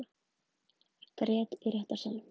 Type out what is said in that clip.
Grét í réttarsalnum